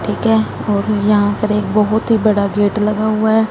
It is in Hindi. ठीक है और यहां पर एक बहुत ही बड़ा गेट लगा हुआ है।